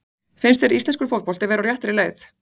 Finnst þér íslenskur fótbolti vera á réttri leið?